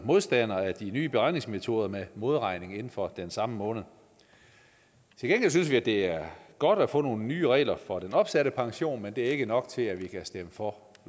modstander af de nye beregningsmetoder med modregning inden for den samme måned til gengæld synes vi at det er godt at få nogle nye regler for den opsatte pension men det er ikke nok til at vi kan stemme for